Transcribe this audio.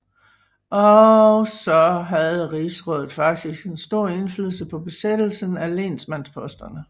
Også havde rigsrådet faktisk en stor indflydelse på besættelsen af lensmandsposterne